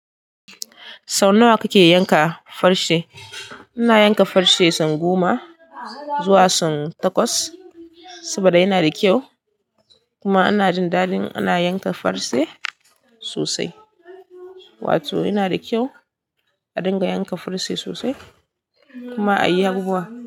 Sau nawa kake yanka farce? Ina yanka farce tsau goma zuwa tsau takwas saboda yana da kyau kuma ana jin daɗin ana yanka farce sosai. Wato yana da kyau a dinga yanka farce sosai kuma a yi yahuwa.